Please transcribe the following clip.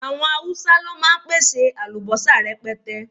Àwọn Haúsá ló máa ń pèsè àlùbọ́sà rẹpẹtẹ